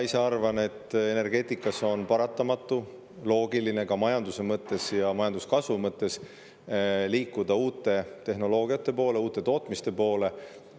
Mina arvan, et energeetikas on paratamatu ja majanduse mõttes, majanduskasvu mõttes ka loogiline liikuda uute tehnoloogiate poole, uute tootmiste poole.